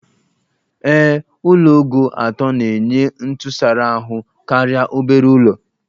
Ee, Ụlọ ogo atọ na-enye ntụsara ahụ karịa obere ụlọ